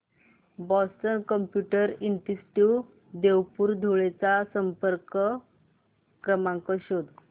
Boston computer institute Devpur Dhule चा संपर्क क्रमांक शोध